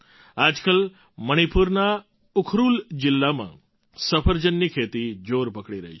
આજકાલ મણિપુરના ઉખરુલ જિલ્લામાં સફરજનની ખેતી જોર પકડી રહી છે